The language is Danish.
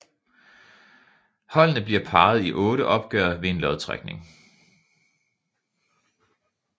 Holdene bliver parret i otte opgør ved en lodtrækning